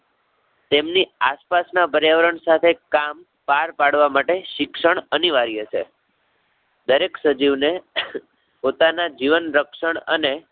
તેમની આસપાસ ના પર્યાવરણ સાથે કામ પાર પાડવા માટે શિક્ષણ અનિવાર્ય છે. ક્યારેક સજીવને પોતાના જીવન રક્ષણ અને